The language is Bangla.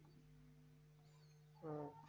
ও